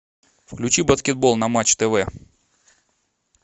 включи баскетбол на матч тв